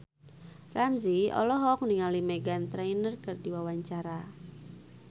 Ramzy olohok ningali Meghan Trainor keur diwawancara